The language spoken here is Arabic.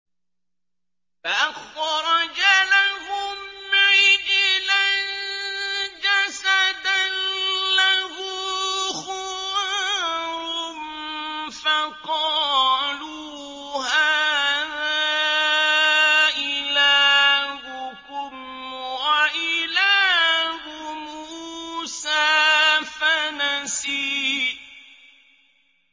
فَأَخْرَجَ لَهُمْ عِجْلًا جَسَدًا لَّهُ خُوَارٌ فَقَالُوا هَٰذَا إِلَٰهُكُمْ وَإِلَٰهُ مُوسَىٰ فَنَسِيَ